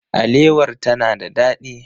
Alewar ta na da ɗadi.